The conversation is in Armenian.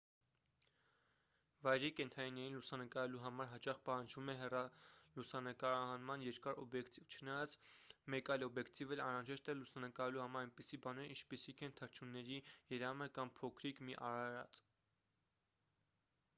վայրի կենդանիներին լուսանկարելու համար հաճախ պահանջվում է հեռալուսանկարահանման երկար օբյեկտիվ չնայած մեկ այլ օբյկետիվ էլ անհրաժեշտ է լուսանկարելու համար այնպիսի բաներ ինչպիսիք են թռչունների երամը կամ փոքրիկ մի արարած